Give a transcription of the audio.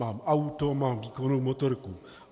Mám auto, mám výkonnou motorku.